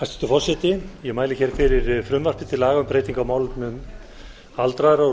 forseti ég mæli hér fyrir frumvarpi til laga um breytingu á lögum um málefni aldraðra og